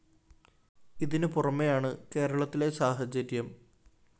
ഇതിനു പുറമെയാണ്‌ കേരളത്തിലെ സാഹചര്യം